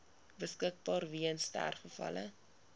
beskikbaar weens sterfgevalle